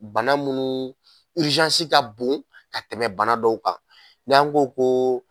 Bana munnu ka bon ka tɛmɛ bana dɔw kan n'an ko ko